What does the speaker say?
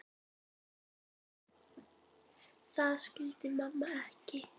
Það skildi mamma ekki.